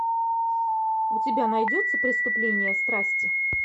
у тебя найдется преступление страсти